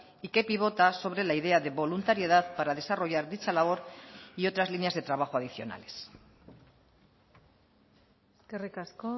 y que pivota sobre la idea de voluntariedad para desarrollar dicha labor y otras líneas de trabajo adicionales eskerrik asko